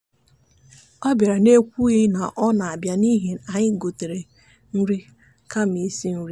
ọ bịara n'ekwughị na ọ na-abịa n'ihi ya anyị gotere nri kama isi nri.